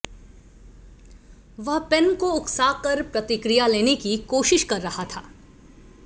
वह पेन को उकसाकर प्रतिक्रिया लेने की कोशिश कर रहा था